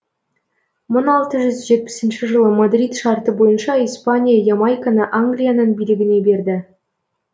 мың алты жүз жетпісінші жылы мадрид шарты бойынша испания ямайканы англияның билігіне берді